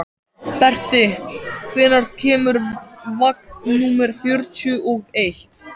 Berti, hvenær kemur vagn númer fjörutíu og eitt?